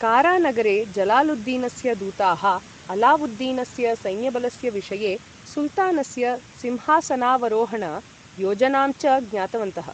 कारा नगरे, जलालुद्दीनस्य दूताः अलावुद्दीनस्य सैन्यबलस्य विषये, सुल्तानस्य सिंहासनावरोहण योजनां च ज्ञातवन्तः।